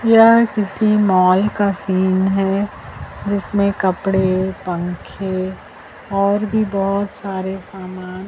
यह किसी मॉल का सीन है जिसमें कपडे पंखे और भी बहोत सारे सामान--